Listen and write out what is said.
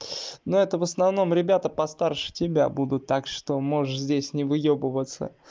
но это в основном ребята постарше тебя буду так что можешь здесь не выёбываться